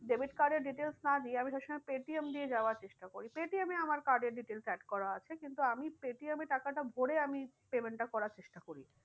Debit card এর details না দিয়ে আমি সব সময় পেটিএম দিয়ে যাওয়ার চেষ্টা করি। পেটিএম এ আমার card এর details add করা আছে কিন্তু আমি পেটিএম টাকাটা ভোরে আমি payment টা করার চেষ্টা করি।